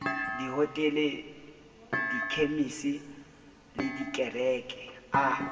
dihotele dikhemisi le dikereke a